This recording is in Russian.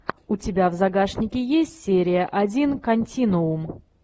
у тебя в загашнике есть серия один континуум